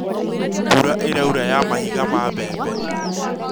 Mbura ĩraura ya mahiga ya mbembe